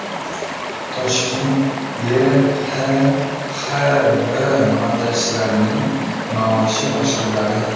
Toshkent YHXB montajchilarining maoshi oshiriladi.